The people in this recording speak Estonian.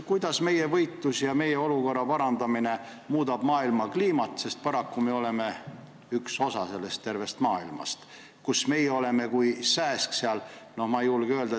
Kuidas meie võitlus ja meie olukorra parandamine muudab maailma kliimat, sest paraku me oleme üks osa tervest maailmast, kus meie oleme kui sääsk elevandi ...